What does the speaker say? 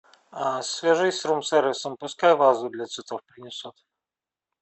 свяжись с рум сервисом пускай вазу для цветов принесут